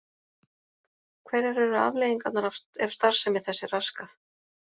Hverjar eru afleiðingarnar ef starfsemi þess er raskað?